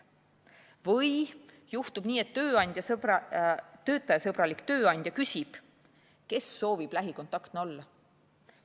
Või juhtub nii, et töötajasõbralik tööandja küsib, kes soovib lähikontaktne olla.